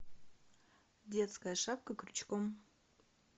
детская шапка крючком